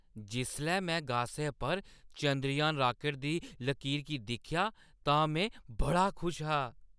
जिसलै में गासै च चंद्रयान रॉकेट दी लकीर गी दिक्खेआ तां में बड़ा खुश हा।